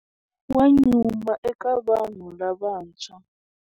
Wa nyuma eka vanhu lavantshwa.